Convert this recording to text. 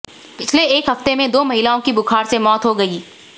पिछले एक हफ्ते में दो महिलाओं की बुखार से मौत हो गई